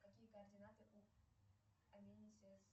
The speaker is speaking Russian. какие координаты у